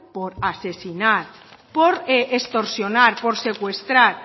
por asesinar por extorsionar por secuestrar